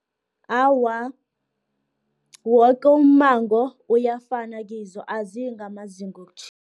Awa, woke ummango uyafana kizo, aziyingamazinga wokutjhisa.